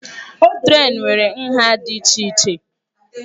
Trén nwere nha dị iche iche.